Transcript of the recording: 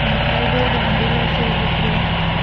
উম ফাইবের বান্ডিল আসে ভিতরে।